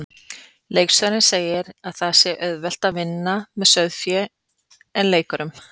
Leikstjórinn segir að það sé auðveldara að vinna með sauðfé en leikurum.